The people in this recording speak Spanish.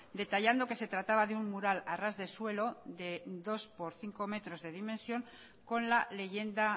detallando que se trataba de un mural a ras de suelo de dos por cinco metros de dimensión con la leyenda